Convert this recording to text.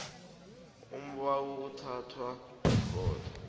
umbawi uthathwa yikhotho